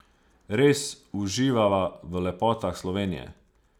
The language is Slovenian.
Res uživava v lepotah Slovenije.